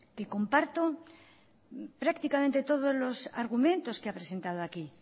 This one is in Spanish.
que comparto prácticamente todo los argumentos que ha presentado aquí